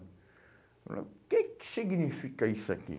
Falou, o que que significa isso aqui?